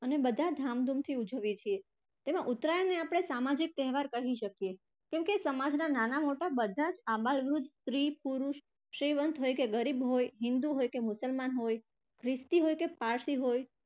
અને બધા ધામધુમથી ઉજવીએ છીએ. જેમાં ઉત્તરાયણને આપણે સામાજિક તહેવાર કહી શકિએ કેમકે સમાજના નાના મોટા બધા સ્ત્રી, પુરુષ, શ્રીમંત હોય કે ગરીબ હોય, હિંદુ હોય કે મુસલમાન હોય, ખ્રિસ્તી હોય કે પારસી હોય